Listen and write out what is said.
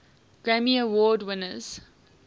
grammy award winners